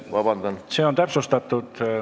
Selge, see on täpsustatud.